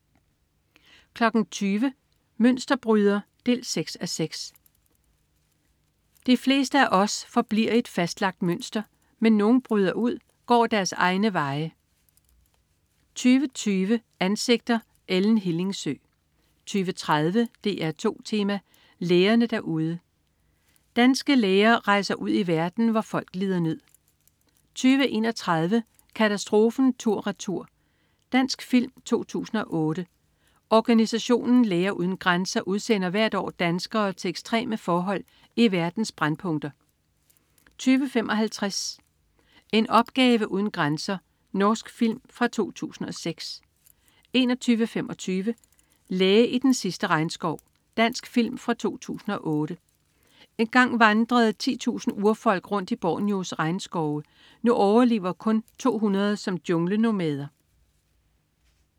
20.00 Mønsterbryder 6:6. De fleste af os forbliver i et fastlagt mønster, men nogle bryder ud og går egne veje 20.20 Ansigter: Ellen Hillingsø 20.30 DR2 Tema: Lægerne derude. Danske læger rejser ud i verden, hvor folk lider nød 20.31 Katastrofen tur-retur. Dansk film fra 2008. Organisationen Læger uden Grænser udsender hvert år danskere til ekstreme forhold i verdens brændpunkter 20.55 En opgave uden grænser. Norsk film fra 2006 21.25 Læge i den sidste regnskov. Dansk film fra 2008. Engang vandrede 10.000 urfolk rundt i Borneos regnskove. Nu overlever kun 200 som junglenomader